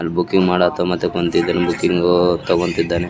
ಅಲ್ ಬುಕ್ಕಿಂಗ್ ಮಾಡತ್ತೋ ಮತ್ತ್ ಕುಂತಿದ್ದಾನ್ ಬುಕ್ಕಿಂಗೂ ತಗೋಂತಿದ್ದಾನೆ.